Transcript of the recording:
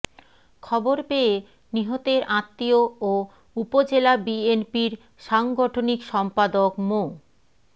খবর পেয়ে নিহতের আত্মীয় ও উপজেলা বিএনপির সাংগঠনিক সম্পাদক মো